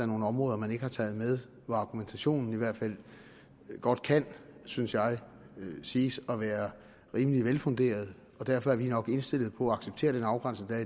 nogle områder man ikke har taget med hvor argumentationen i hvert fald godt kan synes jeg siges at være rimelig velfunderet og derfor er vi nok indstillet på at acceptere den afgrænsning der